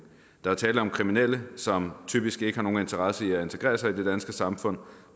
der er tale om kriminelle som typisk ikke har nogen interesse i at integrere sig i det danske samfund